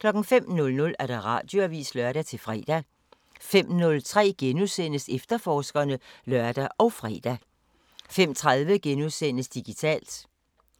05:00: Radioavisen (lør-fre) 05:03: Efterforskerne *(lør og fre) 05:30: Digitalt